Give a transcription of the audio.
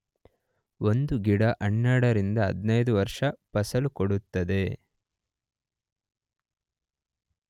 ಒಂದು ಗಿಡ 12 ರಿಂದ 15 ವರ್ಷ ಫಸಲು ಕೊಡುತ್ತದೆ.